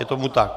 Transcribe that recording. Je tomu tak.